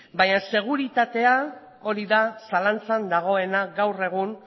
bainan seguritatea hori da zalantzan dagoena gaur egun